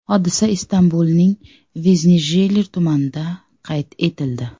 Hodisa Istanbulning Veznijiler tumanida qayd etildi.